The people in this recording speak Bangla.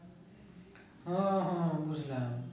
হ্যাঁ হ্যাঁ বুঝলাম